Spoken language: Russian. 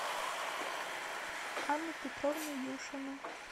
анну петровну юшину